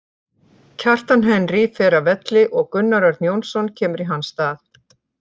Kjartan Henry fer af velli og Gunnar Örn Jónsson kemur í hans stað.